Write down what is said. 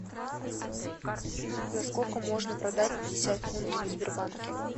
за сколько можно продать пятьдесят фунтов в сбербанке